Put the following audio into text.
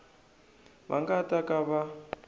va nga ta ka va